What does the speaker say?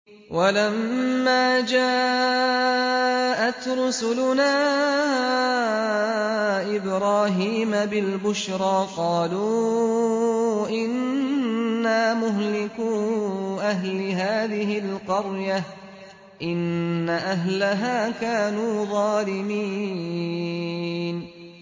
وَلَمَّا جَاءَتْ رُسُلُنَا إِبْرَاهِيمَ بِالْبُشْرَىٰ قَالُوا إِنَّا مُهْلِكُو أَهْلِ هَٰذِهِ الْقَرْيَةِ ۖ إِنَّ أَهْلَهَا كَانُوا ظَالِمِينَ